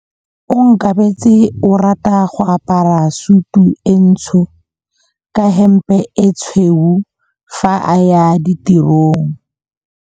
Onkabetse o rata go apara sutu e ntsho ka hempe e tshweu fa a ya tirong.